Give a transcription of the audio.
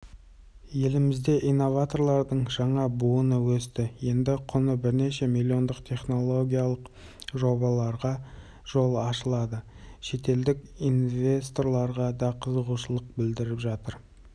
тағы бір тың жоба шымкенттен келген алена ткаченко әлемнің кез келген азаматы пайдалана алатын қызметін ұсынды